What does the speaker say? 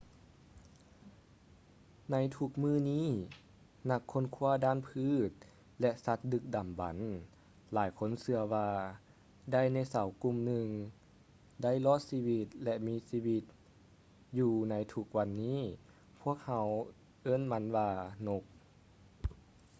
ໃນທຸກມື້ນີ້ ນັກຄົ້ນຄ້ວາດ້ານພືດ ແລະ ສັດດຶກດຳບັນ ຫຼາຍຄົນເຊື່ອວ່າ ໄດໂນເສົາກຸ່ມໜຶ່ງໄດ້ລອດຊີວິດ ແລະ ມີຊີວິດຢູ່ໃນທຸກວັນນີ້ ພວກເຮົາເອີ້ນພວກມັນວ່າ ນົກ